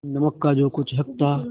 नमक का जो कुछ हक था